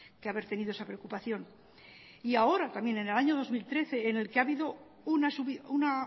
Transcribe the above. que haber tenido esa preocupación y ahora también en el año dos mil trece en el que ha habido una